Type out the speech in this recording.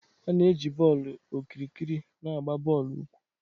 A na-eji bọọlụ okirikiri na-agba bọọlụ ukwu.